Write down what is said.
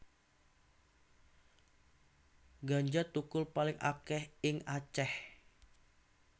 Ganja thukul paling akèh ing Aceh